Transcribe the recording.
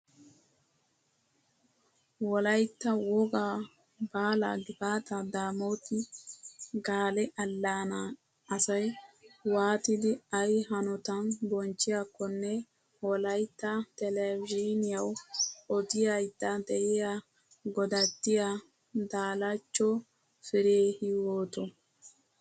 Wolayitta woggaa baala gifaata daamooti gaale allaanaa asayi wwaatidi ayi hanotan bonchchiyaakkonne wolayitta telbejiiniyawu odayidda diyaa godattiyoo daalachcho fire hiywooto.